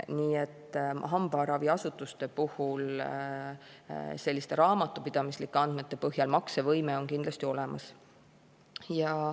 Nii et hambaraviasutustel selliste raamatupidamislike andmete põhjal maksevõime on kindlasti olemas.